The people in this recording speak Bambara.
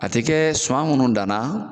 A tɛ kɛ suman minnu danna